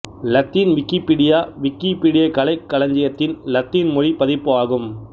இலத்தீன் Wikipedia Wikipedia கலைக் களஞ்சியத்தின் இலத்தீன் மொழி பதிப்பு ஆகும்